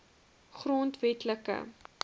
grondwetlike